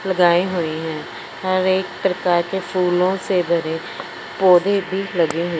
लगाए हुए है हर एक प्रकार के फूलों से भरे पौधे भी लगे--